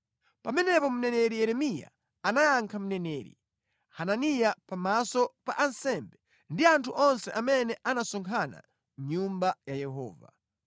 Pamenepo mneneri Yeremiya anayankha mneneri Hananiya pamaso pa ansembe ndi anthu onse amene anasonkhana mʼNyumba ya Yehova.